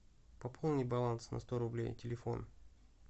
пополни баланс на сто рублей телефон